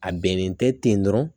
A bɛnnen tɛ ten dɔrɔn